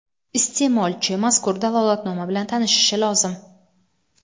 Isteʼmolchi mazkur dalolatnoma bilan tanishishi lozim.